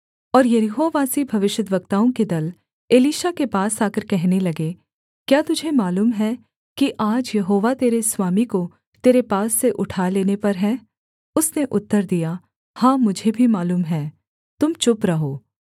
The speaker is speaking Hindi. और यरीहोवासी भविष्यद्वक्ताओं के दल एलीशा के पास आकर कहने लगे क्या तुझे मालूम है कि आज यहोवा तेरे स्वामी को तेरे पास से उठा लेने पर है उसने उत्तर दिया हाँ मुझे भी मालूम है तुम चुप रहो